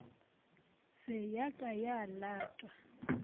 se ya ka ya latwa